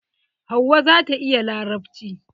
Hauwa zata iya larabci.